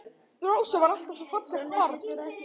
Rósa var alltaf svo fallegt barn.